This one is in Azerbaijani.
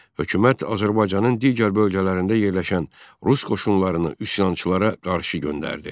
Hökumət Azərbaycanın digər bölgələrində yerləşən rus qoşunlarını üsyançılara qarşı göndərdi.